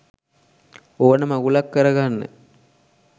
ඕන මගුලක් කරගන්න